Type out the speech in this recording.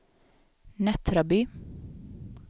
Nättraby